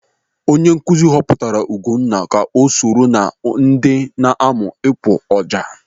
Onye nkụzi họpụtara Ugonna ka ọ soro ná ndị na-amụ ịkpụ ọjà.